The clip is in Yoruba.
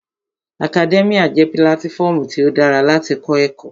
Akadẹ́míà jẹ́ pílátífọmu tí ó dára láti kọ́ ẹ̀kọ́